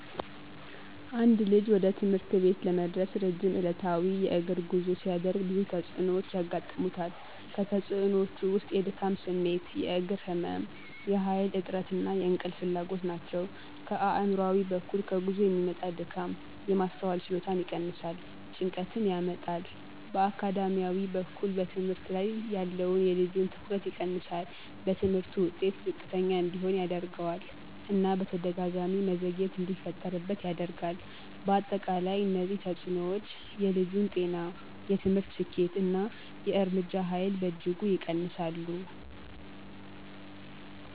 አንድ ልጅ ወደ ትምህርት ቤት ለመድረስ ረጅም ዕለታዊ የእግር ጉዞ ሲያደርግ ብዙ ተጽዕኖዎች ያጋጥሙታል። ከተፅእኖወቹ ውስጥ የድካም ስሜት፣ የእግር ህመም፣ የኃይል እጥረት እና የእንቅልፍ ፍላጎት ናቸው። ከአእምሯዊ በኩል ከጉዞ የሚመጣ ድካም የማስተዋል ችሎታን ይቀንሳል፣ ጭንቀትን ያመጣል። በአካዳሚያዊ በኩል በትምህርት ላይ ያለውን የልጁን ትኩረት ይቀንሳል፣ በትምህርቱ ውጤት ዝቅተኛ እንዲሆን ያደርገዋል እና በተደጋጋሚ መዘግየት እንዲፈጠርበት ያደርጋል። በአጠቃላይ እነዚህ ተጽዕኖዎች የልጁን ጤና፣ የትምህርት ስኬት እና የእርምጃ ኃይል በእጅጉ ይቀንሳሉ።